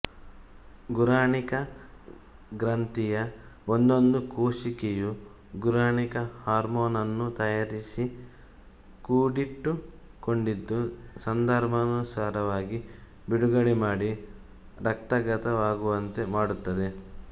ಗುರಾಣಿಕ ಗ್ರಂಥಿಯ ಒಂದೊಂದು ಕೋಶಿಕೆಯೂ ಗುರಾಣಿಕ ಹಾರ್ಮೋನನ್ನು ತಯಾರಿಸಿ ಕೂಡಿಟ್ಟುಕೊಂಡಿದ್ದು ಸಂದರ್ಭಾನುಸಾರವಾಗಿ ಬಿಡುಗಡೆ ಮಾಡಿ ರಕ್ತಗತವಾಗುವಂತೆ ಮಾಡುತ್ತದೆ